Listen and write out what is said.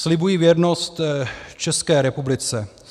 Slibuji věrnost České republice.